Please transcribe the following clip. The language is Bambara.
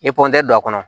I pɔrɔn a kɔnɔ